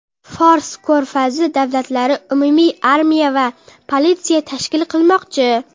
Fors ko‘rfazi davlatlari umumiy armiya va politsiya tashkil qilmoqchi.